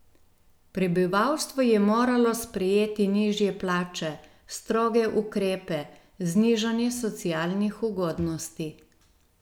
Prebivalstvo je moralo sprejeti nižje plače, stroge ukrepe, znižanje socialnih ugodnosti.